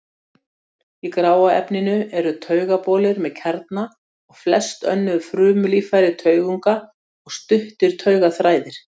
Í gráa efninu eru taugabolir með kjarna og flest önnur frumulíffæri taugunga og stuttir taugaþræðir.